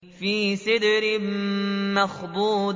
فِي سِدْرٍ مَّخْضُودٍ